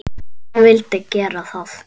Hann vildi gera það.